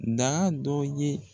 Daa dɔ ye